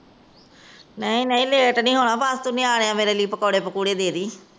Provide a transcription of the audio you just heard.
ਨਹੀਂ ਨਹੀਂ ਲੇਟ ਨਹੀਂ ਹੋਣਾ। ਬੱਸ ਤੂੰ ਨਿਆਣਿਆਂ ਮੇਰੇ ਵਾਸਤੇ ਪਕੌੜੇ ਪਾਕੁੜੇ ਦੇ ਦੀ।